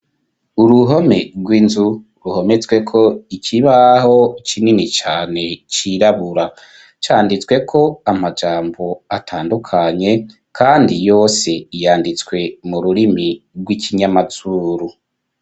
Uruhome rw'inzu ruhometswe ko ikibaho kinini cane cirabura, canditswe ko amajambo atandukanye kandi yose yanditswe mu rurimi rw'ikinyamazuru.